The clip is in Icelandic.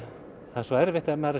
svo erfitt ef maður er